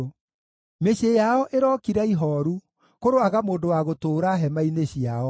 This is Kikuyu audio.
Mĩciĩ yao ĩrokira ihooru; kũroaga mũndũ wa gũtũũra hema-inĩ ciao.